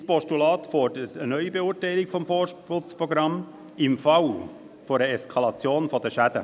Mein Postulat fordert eine Neubeurteilung des Forstschutzprogramms im Falle einer Eskalation der Schäden.